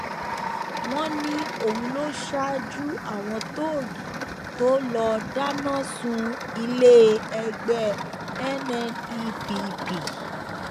wọn ní òun ló ṣaájú àwọn tóògì tó lọọ dáná sun iléẹgbẹ nnepp